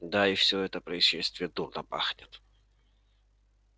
да и всё это происшествие дурно пахнет